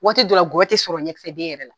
Waati dɔ la gɔyɔ ti sɔrɔ ɲɛkisɛden yɛrɛ la.